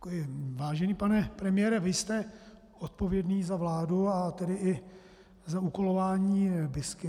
Vážený pane premiére, vy jste odpovědný za vládu a tedy i za úkolování BISky.